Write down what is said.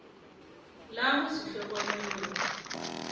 la go se tlhokomele ya